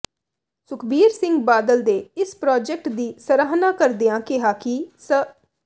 ਸੁਖਬੀਰ ਸਿੰਘ ਬਾਦਲ ਦੇ ਇਸ ਪ੍ਰਾਜੈਕਟ ਦੀ ਸਰਾਹਨਾ ਕਰਦਿਆਂ ਕਿਹਾ ਕਿ ਸ